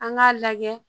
An k'a lajɛ